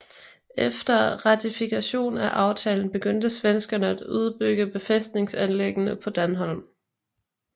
Efter ratifikationen af aftalen begyndte svenskerne at udbygge befæstningsanlæggene på Dänholm